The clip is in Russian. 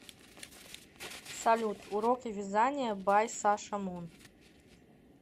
салют уроки вязания бай саша мун